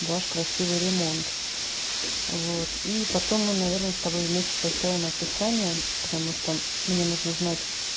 ваш красивый ремонт вот и потом мы наверное с тобой вместе составим описание потому что мне нужно знать